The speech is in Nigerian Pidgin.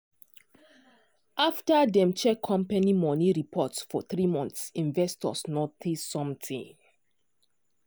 after dem check company money reports for three months investors notice something.